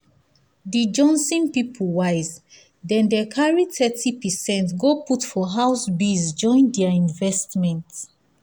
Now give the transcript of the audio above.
di johnson people wise dem dem carry thirty percent go put for house biz join their investment.